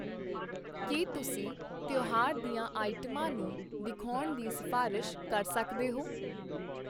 ਕੀ ਤੁਸੀ ਤਿਉਹਾਰ ਦੀਆਂ ਆਈਟਮਾਂ ਨੂੰ ਦਿਖਾਉਣ ਦੀ ਸਿਫਾਰਸ਼ ਕਰ ਸਕਦੇ ਹੋ?